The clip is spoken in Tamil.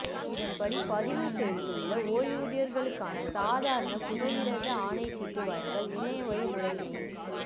இதன்படி பதிவு செய்துள்ள ஓய்வூதியர்களுக்கான சாதாரண புகையிரத ஆணைச்சீட்டு வழங்கல்கள் இணையவழி முறைமையின்